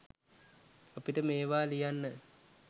අපිට මේවා ලියන්න